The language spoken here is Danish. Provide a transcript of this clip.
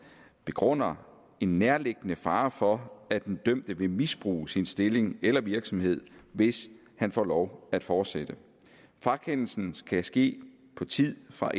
begrunder en nærliggende fare for at den dømte vil misbruge sin stilling eller virksomhed hvis han får lov at fortsætte frakendelsen kan ske på tid fra